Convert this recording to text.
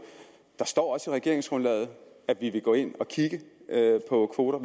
der står også i regeringsgrundlaget at vi vil gå ind at kigge på kvoter